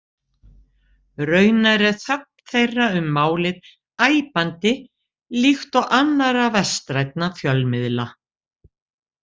Raunar er þögn þeirra um málið æpandi, líkt og annarra vestrænna fjölmiðla.